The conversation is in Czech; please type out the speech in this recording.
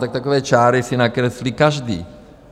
Tak takové čáry si nakreslí každý.